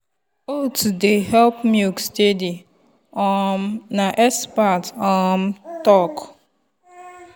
oats dey help milk steady um na expert um talk.